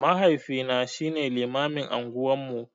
Mahaifina shine limamin unguwan mu.